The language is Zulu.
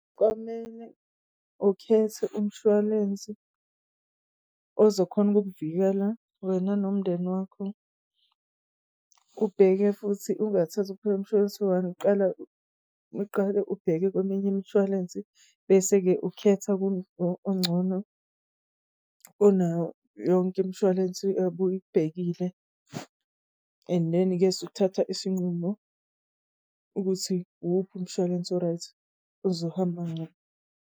Kwamele ukhethe umshwalense ozokhona ukuk'vikela wena nomndeni wakho ubheke futhi ungathathi phela umshwalense uqale ubheke kweminye imshwalense bese-ke ukhetha kulo ongcono kunayo yonke imshwalense obuyibhekile, and then-i-ke suthatha isinqumo ukuthi wuphi umshwalense o-right, ozohamba .